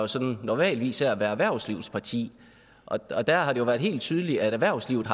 sådan normalt af at være erhvervslivets parti og der har det jo været helt tydeligt at erhvervslivet